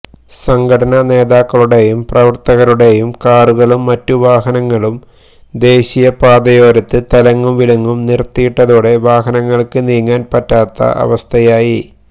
സംഘടനാ നേതാക്കളുടെയും പ്രവര്ത്തകരുടെ കാറുകളും മറ്റു വാഹനങ്ങളും ദേശീയ പാതയോരത്ത് തലങ്ങും വിലങ്ങും നിര്ത്തിയിട്ടതോടെ വാഹനങ്ങള്ക്ക് നീങ്ങാന് പറ്റാത്ത അവസ്ഥയായി